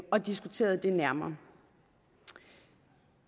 og diskuteret det nærmere